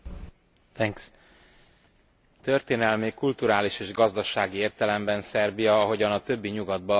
Történelmi, kulturális és gazdasági értelemben Szerbia, ahogyan a többi nyugat balkáni ország is, Európa része.